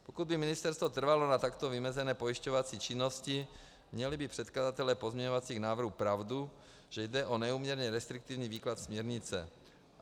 Pokud by ministerstvo trvalo na takto vymezené pojišťovací činnosti, měli by předkladatelé pozměňovacích návrhů pravdu, že jde o neúměrně restriktivní výklad směrnice.